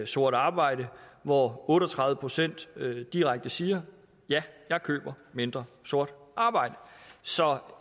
sort arbejde hvor otte og tredive procent direkte siger ja jeg køber mindre sort arbejde så